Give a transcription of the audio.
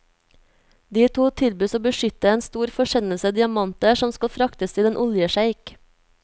De to tilbys å beskytte en stor forsendelse diamanter som skal fraktes til en oljesjeik.